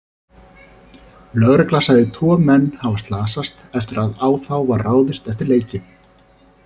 Lögregla sagði tvo menn hafa slasast eftir að á þá var ráðist eftir leikinn.